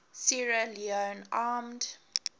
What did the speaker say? sierra leone armed